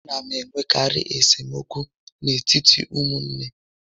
A na enwekarị esemokwu n'etiti ụmụnne